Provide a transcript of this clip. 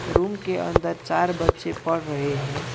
Room के अंदर चार बच्चे पढ़ रहे हैं।